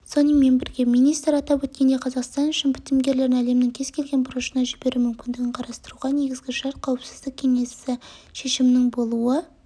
сонымен бірге министр атап өткендей қазақстан үшін бітімгерлерін әлемнің кез келген бұрышына жіберу мүмкіндігін қарастыруға негізгі шарт қауіпсіздік кеңесі шешімінің болуы